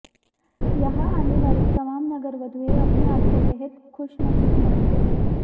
यहां आने वाली तमाम नगरवधुएं अपने आपको बेहद खुशनसीब मानती हैं